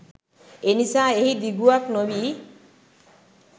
එනිසා එහි දිගුවක් නොවී